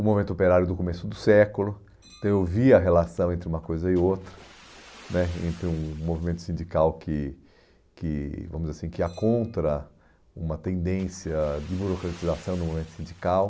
o movimento operário do começo do século, então eu vi a relação entre uma coisa e outra né, entre um movimento sindical que é contra uma tendência de burocratização do movimento sindical.